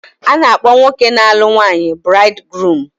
A na-akpọ nwoke na-alụ nwunye buraidi guruumu.